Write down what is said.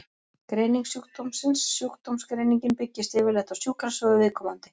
Greining sjúkdómsins Sjúkdómsgreiningin byggist yfirleitt á sjúkrasögu viðkomandi.